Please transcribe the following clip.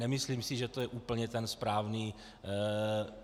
Nemyslím si, že to je úplně ten správný...